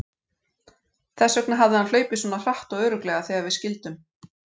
Þess vegna hafði hann hlaupið svona hratt og örugglega þegar við skildum.